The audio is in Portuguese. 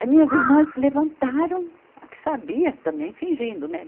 As minhas irmãs levantaram, a que sabia, também fingindo, né?